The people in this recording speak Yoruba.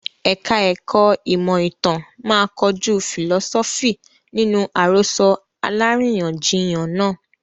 Ẹ̀ka ẹ̀kó ìmọ̀ ìtàn máa kojú fìlọ́sọ́fì nínú àròsọ aláríyànjiyàn náà.